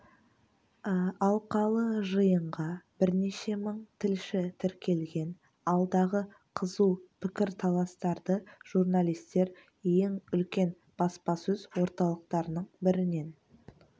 алқалы жиынға бірнеше мың тілші тіркелген алдағы қызу пікір-таластарды журналистер ең үлкен баспасөз орталықтарының бірінен